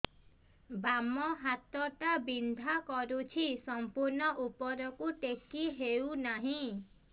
ବାମ ହାତ ଟା ବିନ୍ଧା କରୁଛି ସମ୍ପୂର୍ଣ ଉପରକୁ ଟେକି ହୋଉନାହିଁ